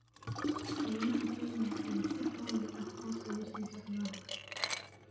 Kaymaha Kenya ayaa si xawli ah hoos ugu sii socda.